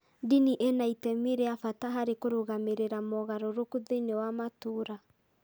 Ndini ĩna itemi rĩa bata harĩ kũrũgamĩrĩra mogarũrũku thĩinĩ wa matũũra.